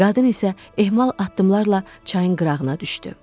Qadın isə ehmal addımlarla çayın qırağına düşdü.